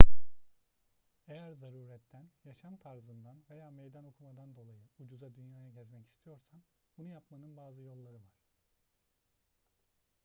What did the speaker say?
eğer zaruretten yaşam tarzından veya meydan okumadan dolayı ucuza dünyayı gezmek istiyorsan bunu yapmanın bazı yolları var